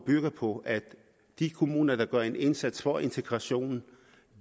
bygger på at de kommuner der gør en indsats for integrationen